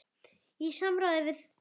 Í samráði við